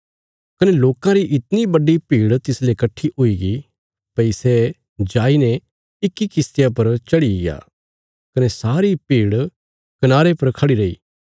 कने लोकां री इतणी बड्डी भीड़ तिसले कट्ठी हुईगी भई सै जाईने इक्की किश्तिया पर चढ़ीग्या कने सारी भीड़ कनारे पर खढ़ी रैई